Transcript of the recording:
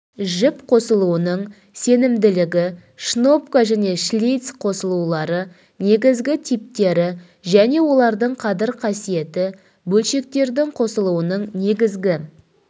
жіп қосылуының сенімділігі шнопка және шлиц қосылулары негізгі типтері және олардың қадір қасиеті бөлшектердің қосылуының негізгі